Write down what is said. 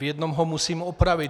V jednom ho musím opravit.